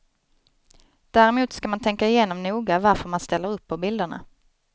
Däremot ska man tänka igenom noga varför man ställer upp på bilderna.